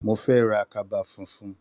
Mo fẹ́ ra kaba funfun.